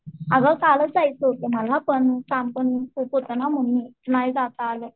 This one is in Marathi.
अगं कालच जायचं होत मला पण काम पण खूप होत ना म्हणून नाही जाता आलं.